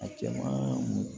A cɛman